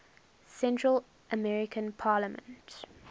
central american parliament